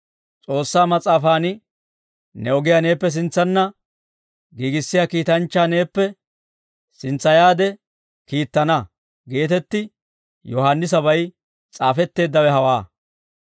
S'oossaa Mas'aafan, ‹Ne ogiyaa neeppe sintsanna giigissiyaa kiitanchchaa neeppe sintsayaade kiittana› geetetti Yohaannisabay s'aafetteeddawe hawaa.